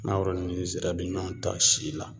Mangoro ni zira bi ɲɔn ta si la